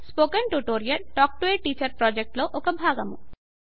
ఈ spoken tutorial talk to a teacher project లో భాగము